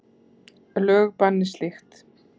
Lög banni slíkt.